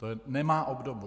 To nemá obdobu!